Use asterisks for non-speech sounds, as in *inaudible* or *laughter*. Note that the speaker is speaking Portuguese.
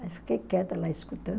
*unintelligible* fiquei quieta lá escutando.